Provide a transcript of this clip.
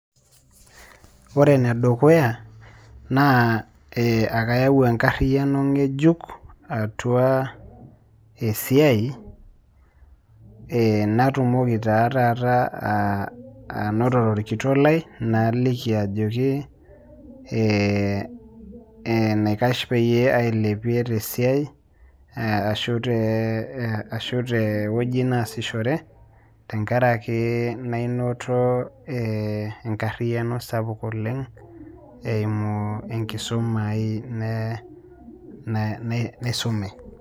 Ore ene dukuya naa ee ake ayau enkariano ng'ejuk atua esia ee natumoki taa taata aa a anotore orkitok lai naliki ajoki ee ee enaikash peyie ailepie te siai ashu tee ee ashu te woji naasishore tenkaraki nainoto ee enkariano sapuk oleng' eimu enkisuma ai ne ne naisume.